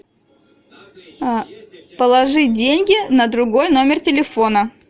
положи деньги на другой номер телефона